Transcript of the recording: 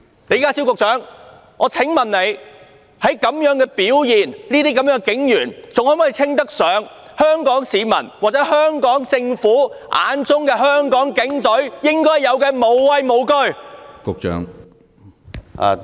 李家超局長，我想問這種表現的警員，在香港市民或香港政府眼中，還能否稱得上具有香港警隊應有的"無畏無懼"的精神？